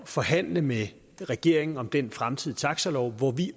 forhandle med regeringen om den fremtidige taxalov hvor vi